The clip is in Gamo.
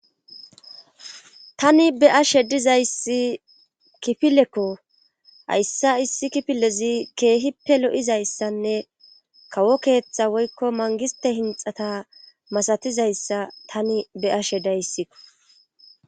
tani be ash' dizayssi kifilekko hayssa issi kifilezi keehippe lo'izayssanne kawo keeththa woykko mangiste hinxata masatizayssa tani be'ashe dayssikko